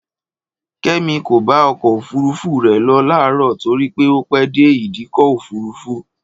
Kẹ́mi kò bá ọkọ̀ òfúrufú rẹ̀ lọ láàrọ̀ torí pé ó pè dé ìdíkọ̀ òfúrufú